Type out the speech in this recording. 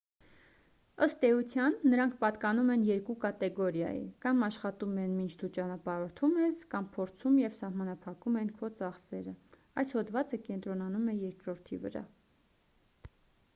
ըստ էության նրանք պատկանում են երկու կատեգորիայի կամ աշխատում են մինչ դու ճանապարհորդում ես կամ փորձում և սահմանափակում են քո ծախսերը այս հոդվածը կենտրոնանում է երկրորդի վրա